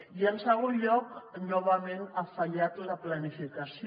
i en segon lloc novament ha fallat la planificació